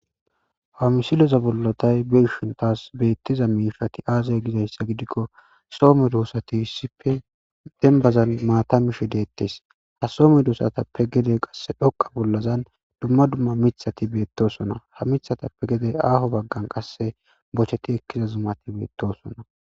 Ha misiloza bollo tay beshintas beettiza miishati aazay gidayssa gidikko soome doossati sipe dembazan maatamishe deettes ha soome doosatappe gede qasse dhoqa bollazan dumma dumma mithati beettosona ha mithatappe gede aaho baggan qasse bocheti ekkiza zumati beettosona.